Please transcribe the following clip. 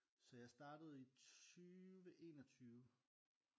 Så jeg startede i 20 21